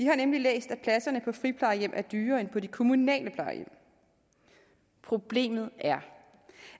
har nemlig læst at pladserne på friplejehjem er dyrere end på de kommunale plejehjem problemet er